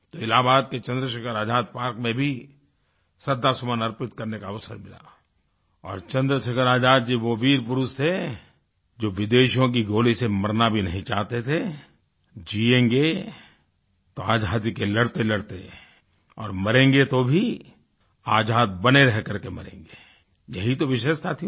इलाहाबाद के चंद्रशेखर आज़ाद पार्क में भी श्रद्धासुमन अर्पित करने का अवसर मिला और चंद्रशेखर आज़ाद जी वो वीर पुरुष थे जो विदेशियों की गोली से मरना भी नहीं चाहते थे जियेंगे तो आज़ादी के लड़तेलड़ते और मरेंगे तो भी आज़ाद बने रहकर के मरेंगे यही तो विशेषता थी उनकी